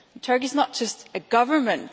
Turkey is not just a government.